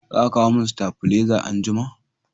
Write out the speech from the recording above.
Za ka kawo min stabileza anjima